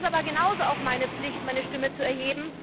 Es ist aber genauso auch meine Pflicht, meine Stimme zu erheben